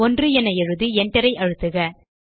1 என எழுதி enter ஐ அழுத்துக